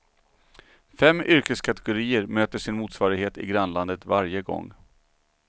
Fem yrkeskategorier möter sin motsvarighet i grannlandet varje gång.